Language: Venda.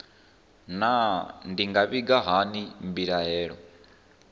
naa ndi nga vhiga hani mbilaelo